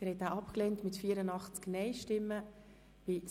Abstimmung (Art. 72 Abs. 3; Antrag GSoK-Minderheit)